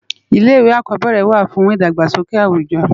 Ilé iwé ákòbèrè wá fún idágbásóké áwújò